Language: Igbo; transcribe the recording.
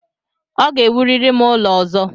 Ọ ga-ewurịrị m ụlọ ọzọ!